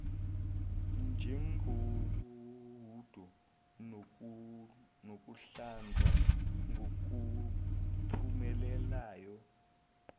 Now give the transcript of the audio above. njengohudo nokuhlanza ngokuphumelelayo